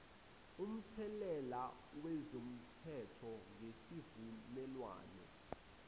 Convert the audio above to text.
umthelela wezomthetho ngesivumelwane